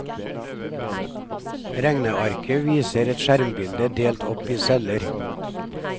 Regnearket viser et skjermbilde delt opp i celler.